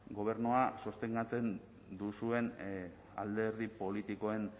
gobernua sostengatzen duzuen alderdi politikoen